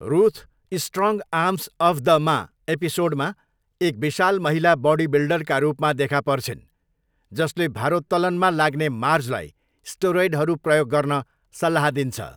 Ruth 'strong arms of the ma' एपिसोडमा एक विशाल महिला बॉडीबिल्डरका रूपमा देखा पर्छिन्, जसले भारोत्तोलनमा लाग्ने मार्जलाई स्टेरोइडहरू प्रयोग गर्न सल्लाह दिन्छ।